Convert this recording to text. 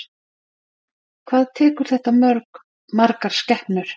Hvað tekur þetta mörg, margar skepnur?